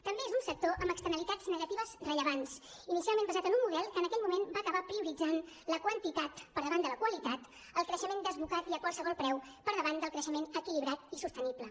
també és un sector amb externalitats negatives rellevants inicialment basat en un model que en aquell moment va acabar prioritzant la quantitat per davant de la qualitat i el creixement desbocat i a qualsevol preu per davant del creixement equilibrat i sostenible